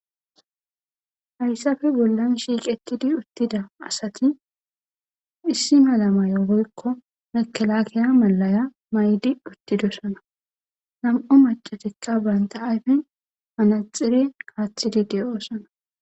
Haysape bolan shiqetidi utida asati issi mala mayo woyko mekelakeya malaya ma'idi uthidosona nam'u mac'c'atika banta ayfen manaxire atidi de'osona.